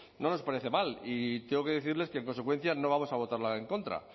no nos parece mal y tengo que decirles que en consecuencia no vamos a votarla en contra